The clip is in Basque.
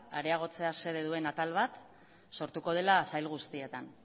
areagotzea xede duen atal bat sortuko dela sail guztietan